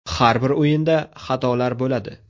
Har bir o‘yinda xatolar bo‘ladi.